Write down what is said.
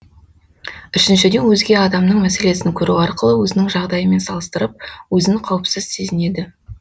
үшіншіден өзге адамның мәселесін көру арқылы өзінің жағдайымен салыстырып өзін қауіпсіз сезінеді